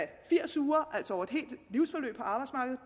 firs uger altså over